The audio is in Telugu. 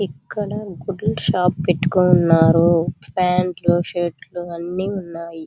ఇక్కడ గుడ్డలా షాప్ పెట్టుకొని ఉన్నారు ప్యాంటు షర్టు అన్ని ఉన్నాయి.